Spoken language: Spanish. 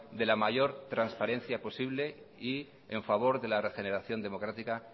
de la mayor transparencia posible y en favor de la regeneración democrática